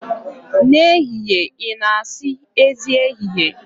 N'ehihie ị na-asị, Ezi ehihie.